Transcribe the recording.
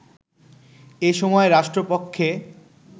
এ সময় রাষ্ট্রপক্ষে